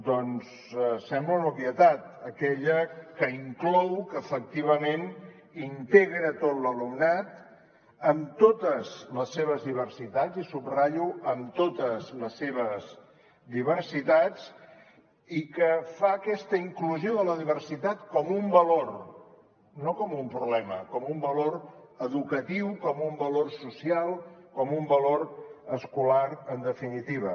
doncs sembla una obvietat aquella que inclou que efectivament integra tot l’alumnat amb totes les seves diversitats i subratllo amb totes les seves diversitats i que fa aquesta inclusió de la diversitat com un valor no com un problema com un valor educatiu com un valor social com un valor escolar en definitiva